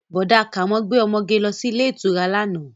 Bọ̀dá Kàmọ́ gbé ọmọge lọ sí ilé ìtura lánàá